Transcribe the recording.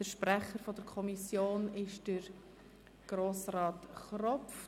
Der Sprecher der Kommission ist Grossrat Kropf.